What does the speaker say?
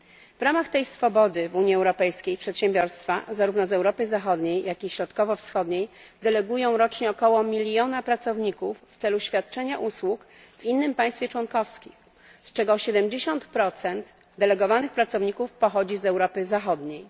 W ramach tej swobody w Unii Europejskiej przedsiębiorstwa zarówno z Europy Zachodniej, jak i Środkowo Wschodniej delegują rocznie około miliona pracowników w celu świadczenia usług w innym państwie członkowskim, z czego 70 delegowanych pracowników pochodzi z Europy Zachodniej.